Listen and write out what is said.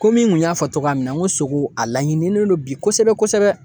Komi n kun y'a fɔ togoya min na n ko sogo a laɲinilen don bi kosɛbɛ kosɛbɛ